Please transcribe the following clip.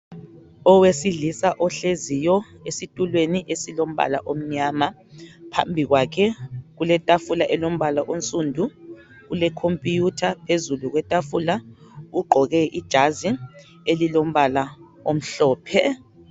Owesilisa ohleziyo esitulweni esilombala omnyama phambi kwakhe kuletafula elombala onsundu kulecomputer phezulu kwetafula ugqoke ijazi elilombala omhlophe.